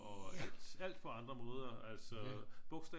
Og alt på andre måder bogstaver